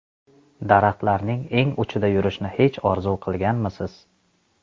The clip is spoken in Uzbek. Daraxtlarning eng uchida yurishni hech orzu qilganmisiz?